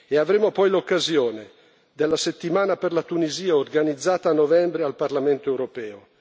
avremo poi l'occasione della Settimana per la Tunisia organizzata a novembre al Parlamento europeo.